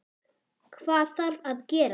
Hvað þarf að gerast?